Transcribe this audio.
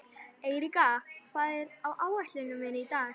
Eiríka, hvað er á áætluninni minni í dag?